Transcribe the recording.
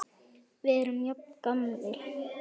Við erum jafn gamlir.